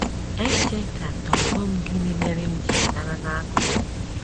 Echekatogom gịnị mere m jiri danara n'akụkụ.